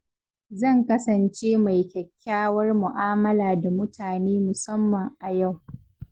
Zan kasance mai kyakkyawar mu’amala da mutane musamman a yau.